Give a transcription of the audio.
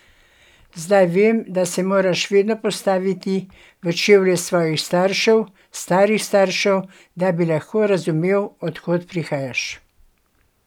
Zdaj vem, da se moraš vedno postaviti v čevlje svojih staršev, starih staršev, da bi lahko razumel, od kod prihajaš.